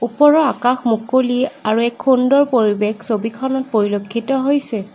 ওপৰৰ আকাশ মুকলি আৰু এক সুন্দৰ পৰিৱেশ ছবিখনত পৰিলক্ষিত হৈছে।